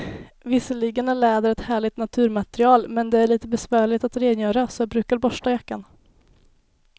Visserligen är läder ett härligt naturmaterial, men det är lite besvärligt att rengöra, så jag brukar borsta jackan.